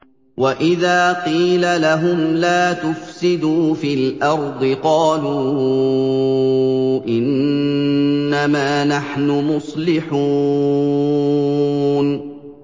وَإِذَا قِيلَ لَهُمْ لَا تُفْسِدُوا فِي الْأَرْضِ قَالُوا إِنَّمَا نَحْنُ مُصْلِحُونَ